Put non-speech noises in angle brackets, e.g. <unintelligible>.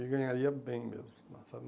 E ganharia bem mesmo, <unintelligible> sabe?